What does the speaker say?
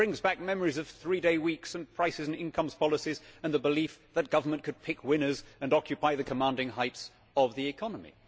It brings back memories of three day weeks and prices and incomes policies and a belief that government could pick winners and occupy the commanding heights of the economy.